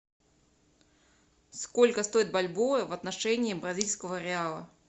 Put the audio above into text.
сколько стоит бальбоа в отношении бразильского реала